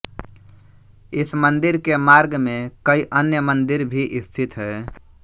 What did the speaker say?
इस मंदिर के मार्ग में कई अन्य मंदिर भी स्थित है